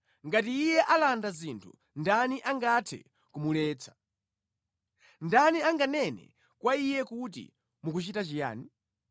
Ngati Iye alanda zinthu, ndani angathe kumuletsa? Ndani anganene kwa Iye kuti, ‘Mukuchita chiyani?’